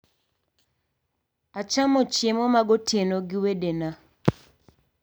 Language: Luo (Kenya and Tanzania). Achamo chiemo magotieno gi wedena